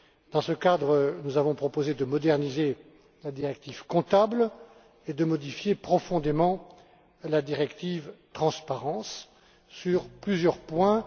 Dans ce cadre, nous avons proposé de moderniser la directive Comptable et de modifier profondément la directive Transparence sur plusieurs points.